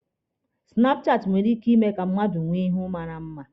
Sinapụ chaati nwere ike ime ka mmadụ nwee ihu mara mma.